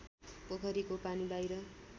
पोखरीको पानी बाहिर